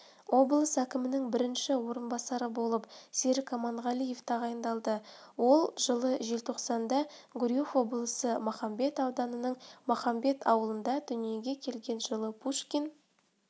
облыс әкімінің бірінші орынбасары болып серік аманғалиев тағайындалды ол жылы желтоқсанда гурьев облысы махамбет ауданының махамбет ауылында дүниеге келген жылы пушкин